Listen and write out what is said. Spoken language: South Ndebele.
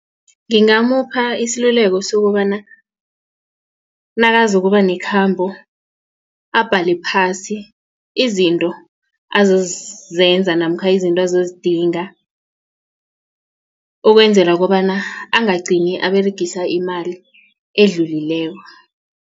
Ngingamupha iseluleko sokobana nakazokuba nekhambo abhale phasi izinto azozenza namkha izinto azozidinga ukwenzela kobana angagcini aberegisa imali edlulileko.